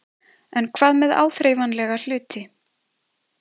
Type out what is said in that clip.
En hvað með áþreifanlega hluti?